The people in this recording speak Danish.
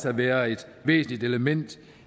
at være et væsentligt element